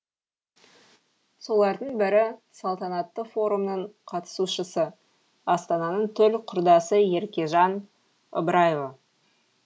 солардың бірі салтанатты форумның қатысушысы астананың төл құрдасы еркежан ыбыраева